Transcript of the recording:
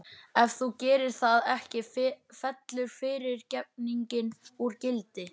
Ef þú gerir það ekki fellur fyrirgefningin úr gildi.